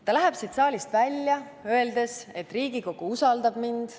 Ta läheb siit saalist välja, öeldes, et Riigikogu usaldab mind.